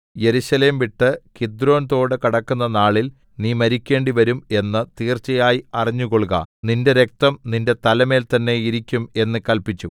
യെരുശലേം വിട്ട് കിദ്രോൻതോട് കടക്കുന്ന നാളിൽ നീ മരിക്കേണ്ടിവരും എന്ന് തീർച്ചയായി അറിഞ്ഞുകൊൾക നിന്റെ രക്തം നിന്റെ തലമേൽ തന്നേ ഇരിക്കും എന്ന് കല്പിച്ചു